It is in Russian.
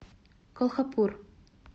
колхапур